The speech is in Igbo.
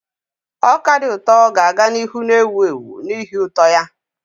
Ọka dị ụtọ ga-aga n'ihu na-ewu ewu n'ihi ụtọ ya.